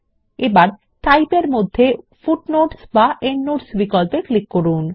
এবার টাইপ এর অধীনে হয় ফুটনোটস বা এন্ডনোটস বিক্পল্পে ক্লিক করুন